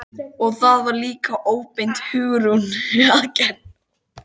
Og það var líka óbeint Hugrúnu að kenna.